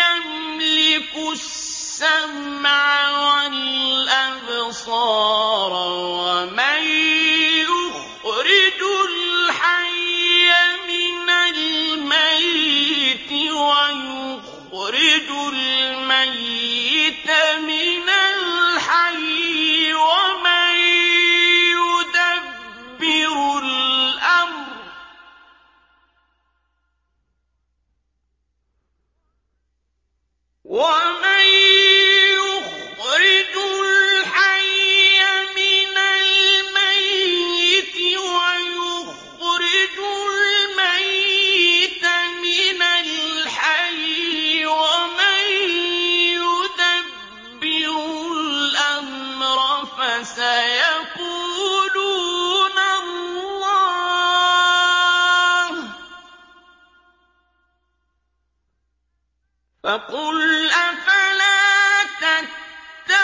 يَمْلِكُ السَّمْعَ وَالْأَبْصَارَ وَمَن يُخْرِجُ الْحَيَّ مِنَ الْمَيِّتِ وَيُخْرِجُ الْمَيِّتَ مِنَ الْحَيِّ وَمَن يُدَبِّرُ الْأَمْرَ ۚ فَسَيَقُولُونَ اللَّهُ ۚ فَقُلْ أَفَلَا تَتَّقُونَ